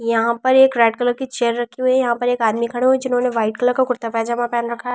यहां पर एक रेड कलर की चेयर रखी हुई है यहां पर एक आदमी खड़े हुए हैं जिन्होंने वाइट कलर का कुर्ता पैजामा पहन रखा है ।